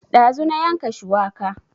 Ɗazu na yanka shuwaka